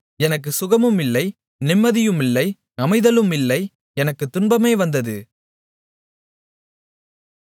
எனக்குச் சுகமுமில்லை நிம்மதியுமில்லை அமைதலுமில்லை எனக்குத் துன்பமே வந்தது